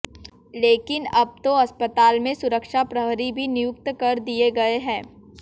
लेकिन अब तो अस्पताल में सुरक्षा प्रहरी भी नियुक्त कर दिए गए हैं